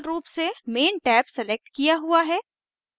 default रूप से main tab select किया हुआ है